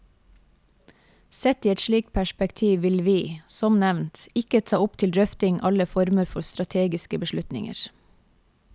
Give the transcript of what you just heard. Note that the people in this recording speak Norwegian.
Sett i et slikt perspektiv vil vi, som nevnt, ikke ta opp til drøfting alle former for strategiske beslutninger.